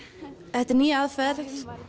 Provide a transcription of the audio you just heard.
þetta er ný aðferð